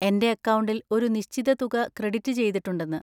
എന്‍റെ അക്കൗണ്ടിൽ ഒരു നിശ്ചിത തുക ക്രെഡിറ്റ് ചെയ്തിട്ടുണ്ടെന്ന്.